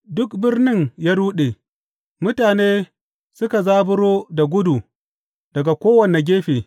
Duk birnin ya ruɗe, mutane suka zaburo da gudu daga kowane gefe.